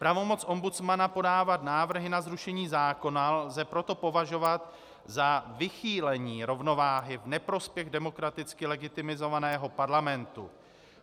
Pravomoc ombudsmana podávat návrhy na zrušení zákona lze proto považovat za vychýlení rovnováhy v neprospěch demokraticky legitimizovaného Parlamentu.